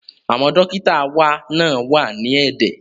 Àwọn dókítà wá náà wà ní ẹ̀dẹ̀